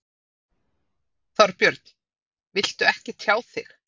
Þorbjörn: Viltu ekki tjá þig?